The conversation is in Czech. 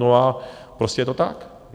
No a prostě je to tak.